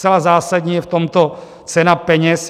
Zcela zásadní je v tomto cena peněz.